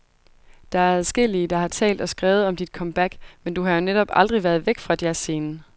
Der er adskillige, der har talt og skrevet om dit comeback, men du har jo netop aldrig været væk fra jazzscenen?